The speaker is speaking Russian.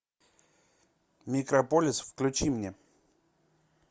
микрополис включи мне